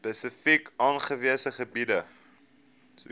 spesifiek aangewese gebiede